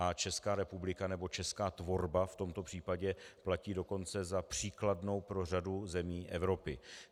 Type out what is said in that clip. A Česká republika nebo česká tvorba v tomto případě platí dokonce za příkladnou pro řadu zemí Evropy.